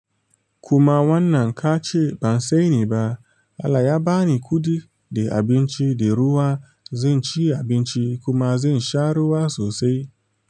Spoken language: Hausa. Kuma wannan kace ban sani ba, Allah ya bani kuɗi da abinci da ruwa, zan ci abinci kuma zan sha ruwa sosai.